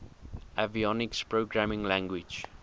avionics programming language